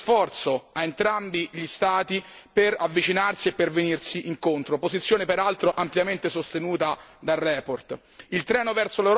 Chiedo quindi un grande sforzo a entrambi gli Stati per avvicinarsi e per venirsi incontro, posizione peraltro ampiamente sostenuta nella relazione.